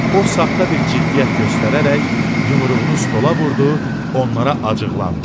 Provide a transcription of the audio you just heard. O saxta bir ciddiyyət göstərərək yumruğunu stola vurdu, onlara acıqlandı.